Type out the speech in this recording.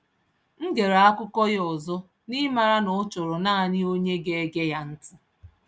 M gere akụkọ ya ọzọ, n’ịmara na ọ chọrọ naanị, onye ga ege ya ntị